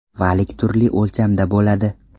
Valik turli o‘lchamda bo‘ladi.